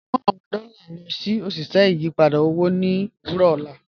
Mu awọn dọ́lá lọ sí oṣiṣẹ́ ìyìpadà owo ni owurọ ọlá